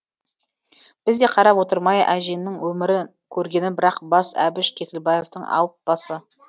біз де қарап отырмай әжеңнің өмірі көргені бір ақ бас әбіш кекілбаевтің алып басы